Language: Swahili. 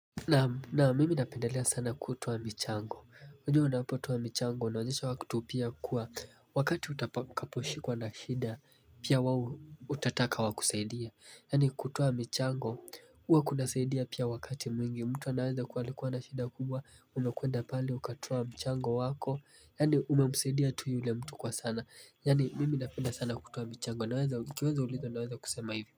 Naam mimi napendelea sana kutoa michango unajua unapotoaa michango unaonyesha watu pia kuwa wakati utakaposhikwa na shida pia wao utataka wakusaidia Yaani kutoa michango huwa kunasaidia pia wakati mwingi mtu anaweza kuwa alikuwa na shida kubwa umekwenda pale ukatoa mchango wako Yaani umemusaidia tu yule mtu kwa sana yaani mimi napenda sana kutoa michango naweza nikiweza ulizwa naweza kusema hivo.